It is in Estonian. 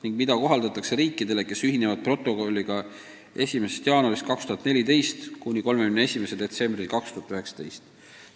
Seda korda kohaldatakse riikidele, kes ühinevad protokolliga ajavahemikul 1. jaanuar 2014 kuni 31. detsember 2019.